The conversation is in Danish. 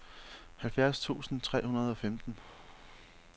halvfjerds tusind tre hundrede og femten